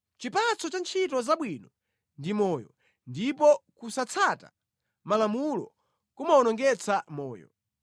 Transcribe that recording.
Chipatso cha ntchito zabwino ndi moyo, ndipo kusatsata malamulo kumawonongetsa moyo.